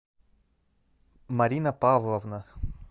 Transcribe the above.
марина павловна